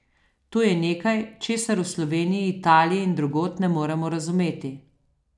To je nekaj, česar v Sloveniji, Italiji in drugod ne moremo razumeti.